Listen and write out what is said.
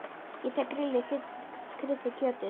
Ég tek til grillið, þið kryddið kjötið